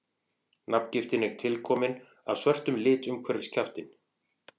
nafngiftin er tilkomin af svörtum lit umhverfis kjaftinn